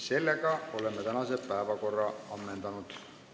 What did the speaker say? Sellega oleme tänase päevakorra ammendanud.